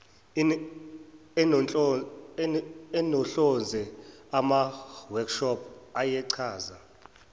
enohlonze amaworkshop ayechaza